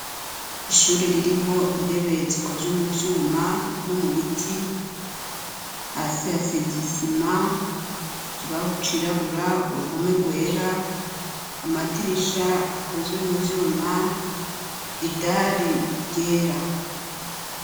Ishure ririmwo intebe, zikozwe mu vyuma no mu biti, hasi hasize isima, ikibaho cirabura, uruhome rwera, amadirisha akozwe mu vyuma, idari ryera.